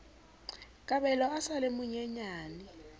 kabelo a sa le monyenyane